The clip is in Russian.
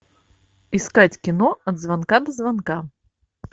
искать кино от звонка до звонка